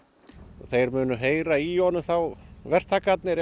þeir munu heyra í honum þá verktakarnir ef